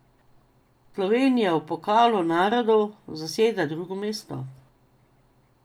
Slovenija v Pokalu narodov zaseda drugo mesto.